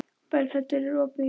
Berghildur, er opið í Ríkinu?